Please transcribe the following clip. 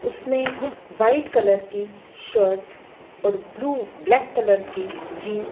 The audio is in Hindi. उसने व्हाइट कलर की शर्ट और ब्लू ब्लैक कलर की जीन--